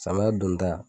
Samiya donda